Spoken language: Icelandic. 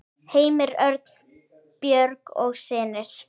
Heimir Örn, Björg og synir.